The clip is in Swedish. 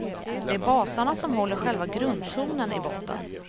Det är basarna som håller själva grundtonen i botten.